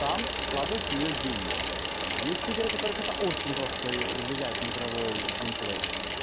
там вкладывать в неё деньги есть игры у которых это очень жёстко влияет на игровой геймплей